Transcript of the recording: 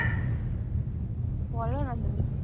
বলো না তুমি।